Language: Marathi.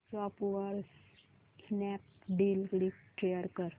व्हॉट्सअॅप वर स्नॅपडील लिंक शेअर कर